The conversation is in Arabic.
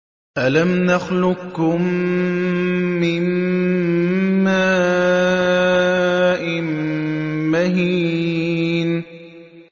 أَلَمْ نَخْلُقكُّم مِّن مَّاءٍ مَّهِينٍ